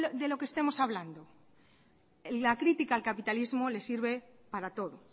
de lo que estemos hablando la crítica al capitalismo le sirve para todo